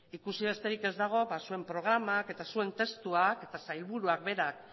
ikusi besterik ez dago zuen programak eta zuen testuak eta sailburuak berak